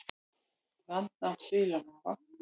Landnám sílamáfa